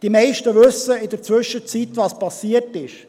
Die meisten wissen, was in der Zwischenzeit geschehen ist.